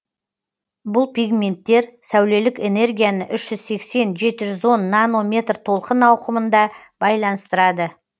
бұл пигменттер сәулелік энергияны үш жүз сексен жеті жүз он метр толқын ауқымында байланыстырады